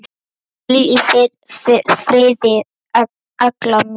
Hvíl í friði, Lella mín.